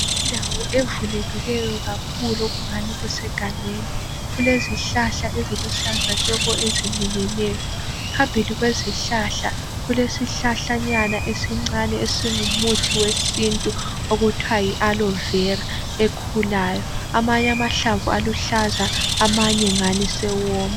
Indawo evulekileyo kakhulu. Okungani kusegangeni. Kulezihlahla eziluhlaza tshoko eziminyeneyo. Phambili kwezihlahla, kulesihlahlanyana esincane esingumuthi wesintu, okuthiwa yiAloevera, ekhulayo. Amanye amahlamvu aluhlaza. Amanye ungani asewoma.